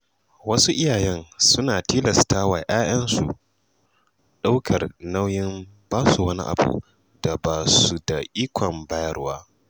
Wasu iyaye sukan tilasta ‘ya‘yansu ɗaukar nauyin basu wani abu da ba su da ikon bayarwa.